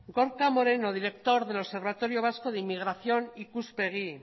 gorka moreno director del observatorio vasco de inmigración ikuspegi